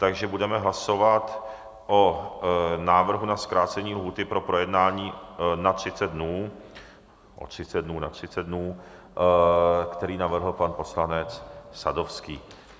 Takže budeme hlasovat o návrhu na zkrácení lhůty pro projednání na 30 dnů, o 30 dnů na 30 dnů, který navrhl pan poslanec Sadovský.